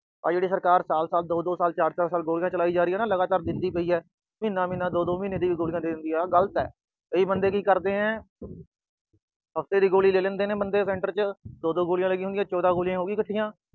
ਆਹ ਜਿਹੜੀ ਸਰਕਾਰ ਸਾਲ-ਸਾਲ, ਦੋ-ਦੋ ਸਾਲ, ਚਾਰ-ਚਾਰ ਸਾਲ ਗੋਲੀਆਂ ਚਲਾਈ ਜਾ ਰਹੀ ਆ ਲਗਾਤਾਰ, ਦਿੰਦੀ ਪਈ ਆ, ਮਹੀਨਾ-ਮਹੀਨਾ, ਦੋ-ਦੋ ਮਹੀਨੇ ਦੀਆਂ ਗੋਲੀਆਂ ਦੇ ਦਿੰਦੇ ਆ, ਆਹ ਗਲਤ ਆ। ਕਈ ਬੰਦੇ ਕੀ ਕਰਦੇ ਆ ਹਫਤੇ ਦੀ ਗੋਲੀ ਲੈ ਲੈਂਦੇ ਆ center ਚ। ਦੋ-ਦੋ ਗੋਲੀਆਂ ਲੱਗੀਆਂ ਹੋਈਆਂ, ਚੌਦਾਂ ਗੋਲੀਆਂ ਹੋ ਗਈਆਂ ਇੱਕਠੀਆਂ।